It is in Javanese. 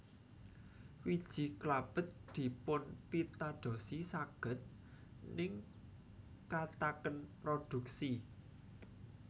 Wiji klabet dipunpitadosi saged ningkataken produksi